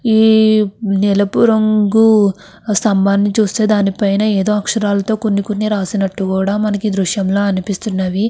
ఈ నీలపు రంగు స్తంభాని చూస్తే దానిపైన ఎదో అక్షరాలతో కొన్ని కొన్ని రాసినట్టు కూడ మనకి ఈ దృశ్యంలో అనిపిస్తున్నవి.